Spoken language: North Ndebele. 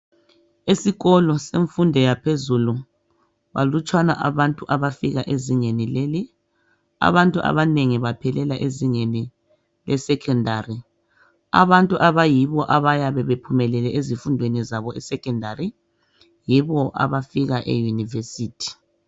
Esikolo semfundo yaphezulu balutshwana abantu abafika ezingeni leli, abantu abanengi baphelela ezingeni leSecondary abantu abayibo abayabe bephumelele ezifundweni zabo eSecondary yibo abafika eYunivesithi.